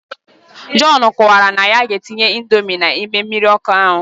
John kowakwara na ya ga etinye indomie na ime mmirir oku ahu.